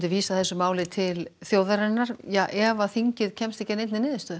vísað þessu til þjóðarinnar ef þingið kemst ekki að niðurstöðu